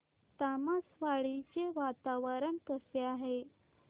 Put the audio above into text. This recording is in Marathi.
तामसवाडी चे वातावरण कसे आहे